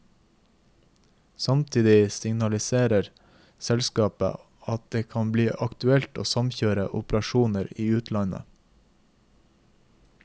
Samtidig signaliserer selskapet at det kan bli aktuelt å samkjøre operasjoner i utlandet.